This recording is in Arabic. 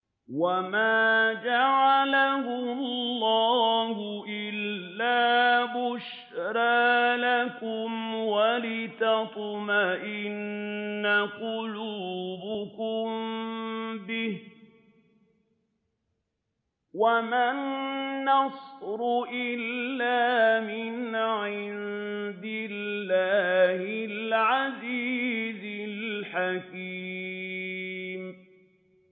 وَمَا جَعَلَهُ اللَّهُ إِلَّا بُشْرَىٰ لَكُمْ وَلِتَطْمَئِنَّ قُلُوبُكُم بِهِ ۗ وَمَا النَّصْرُ إِلَّا مِنْ عِندِ اللَّهِ الْعَزِيزِ الْحَكِيمِ